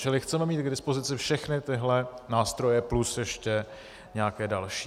Čili chceme mít k dispozici všechny tyhle nástroje, plus ještě nějaké další.